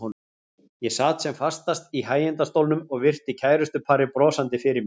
Ég sat sem fastast í hægindastólnum og virti kærustuparið brosandi fyrir mér.